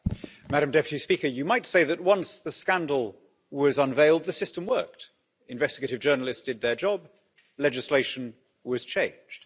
Madam President, you might say that once the scandal was unveiled, the system worked. Investigative journalists did their job, legislation was changed.